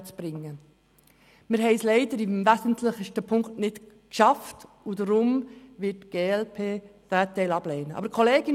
Wir haben es leider im wesentlichsten Punkt nicht geschafft, und deshalb wird die glp-Fraktion diesen Teil ablehnen.